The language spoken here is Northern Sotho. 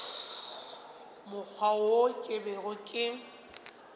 mokgwa wo ke bego ke